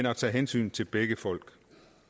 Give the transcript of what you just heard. at tage hensyn til begge folk